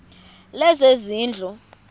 lezezindlu